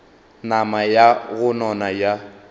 nama ya go nona ya